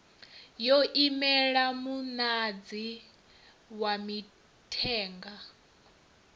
yo imela muṅadzi wa mithenga